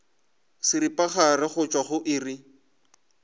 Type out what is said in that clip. seripagare go tšwa go iri